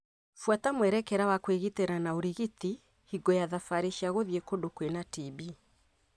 Buata mwerekera wa kwĩgita na ũrigiti hingo ya thabarĩ cia gũthĩi kũndũ kwĩna TB.